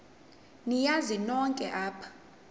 niyazi nonk apha